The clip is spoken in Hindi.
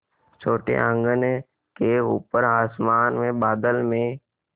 छोटे आँगन के ऊपर आसमान में बादल में